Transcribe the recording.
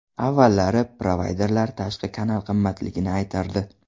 Avvallari provayderlar tashqi kanal qimmatligini aytardi.